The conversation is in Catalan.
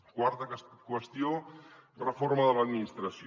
quarta qüestió reforma de l’administració